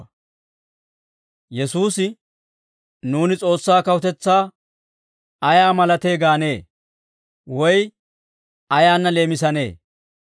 Yesuusi, «Nuuni S'oossaa kawutetsaa ayaa malatee gaanee? Woy ayaanna leemisanee?